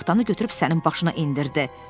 O taxtanı götürüb sənin başına endirdi.